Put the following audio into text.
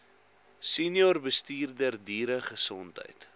senior bestuurder dieregesondheid